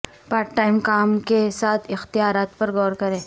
part time کام کے ساتھ اختیارات پر غور کریں